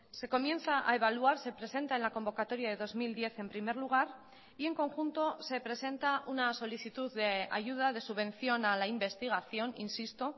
se comienza a evaluar se presenta en la convocatoria de dos mil diez en primer lugar y en conjunto se presenta una solicitud de ayuda de subvención a la investigación insisto